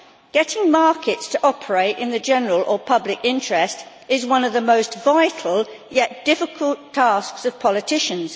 Getting markets to operate in the general or public interest is one of the most vital, yet difficult, tasks of politicians.